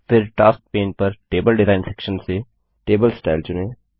फिर task pane पर table design section से टेबल स्टाइल चुनें